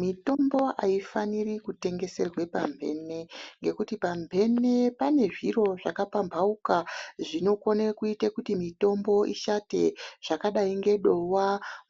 Mitombo aifaniri kutengeserwe pamhene ngekuti pamhene pane zviro zvakapambhauka zvinokone kuita kuti mitombo ishate zvakadai ngedowa,